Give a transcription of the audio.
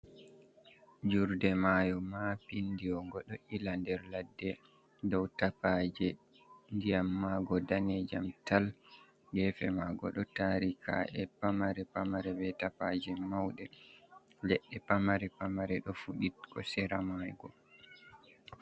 Jurde maayo maapindiwo, ngo ɗo ila nder ladde dow tapaaje, ndiyam maago danejam tal, geefe maago ɗo taari kaa’e pamare-pamare, be tapaaje mawɗe. Leɗɗe pamare-pamare ɗo fuɗi dow sera maago.